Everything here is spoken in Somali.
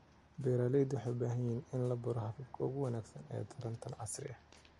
Beeralayda waxay u baahan yihiin in la baro hababka ugu wanaagsan ee taranta casriga ah.